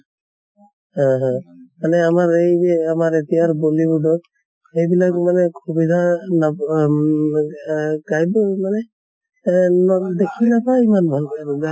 হা হা মানে আমাৰ এই যে আমাৰ এতিয়াৰ bollywood ৰ সেইবিলাক মানে সুবিধা নাপ আম মানে এহ নম দেখি নাপায় ইমান ভালকে আৰু